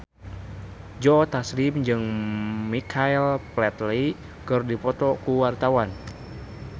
Joe Taslim jeung Michael Flatley keur dipoto ku wartawan